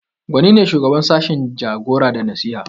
Gwani ne shugaban sashin Jagora da nasiha